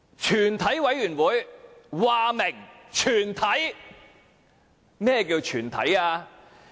全體委員會說明是"全體"，何謂"全體"呢？